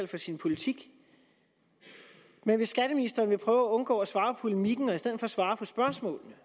for sin politik men hvis skatteministeren ville prøve at undgå at svare på polemikken og i stedet svare på spørgsmålene